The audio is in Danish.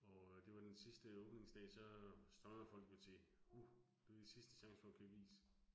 Og øh det var den sidste åbningsdag så strømmer folk jo til. Uh det sidste chance for at købe is